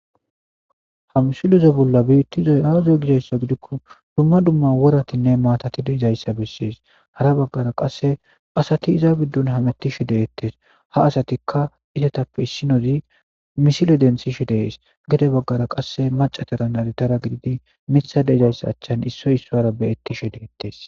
hamsilez bolla biittizoy aazo gidayssa gidikko dumma dumma woratinne maatati deezayssa bessees hara baggara qasse asati iza biddun hamettishe deettes ha asatikka izetappe issinozi misile densishe dees gede baggara qasse macataranadidara gididi mitha deezayssa achchan issoy issora beettishe deettes